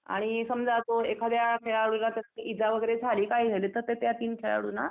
आणि समजा तो एखाद्या खेळाडूला त्या इजा वगैरे झाली काय झाली तर त्या तीन खेळाडूंना